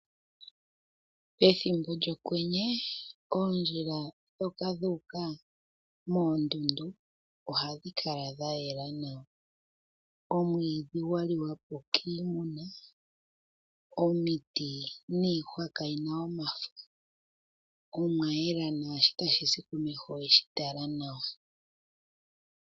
Pethimbo lyokwenye, oondjila dhoka dhuuka moondundu, ohadhi kala dhayela nawa. Omwiidhi wa li wa po kiimuna, omiti niihwa kayi na omafo, omwa yela naashi tashi zi komeho oweshi tala nawa.